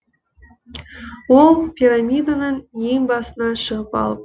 ол пирамиданың ең басына шығып алып